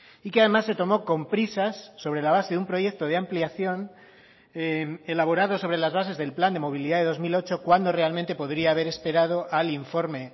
y que además se tomó con prisas sobre la base de un proyecto de ampliación elaborado sobre las bases del plan de movilidad de dos mil ocho cuando realmente podría haber esperado al informe